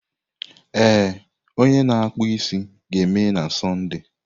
Ee, onye na-akpụ isi ga-emeghe na Sọnde.